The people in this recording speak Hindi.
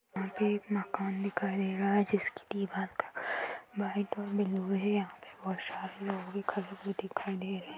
यहाँ पे एक मकान दिखाई देरा है जिसकी दीवाल का व्हाइट और ब्लू है यहाँ बोहोत सारे लोग भी खड़े हुए दिखाई दे रहे हैं।